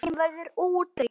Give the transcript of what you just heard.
Þeim verður útrýmt.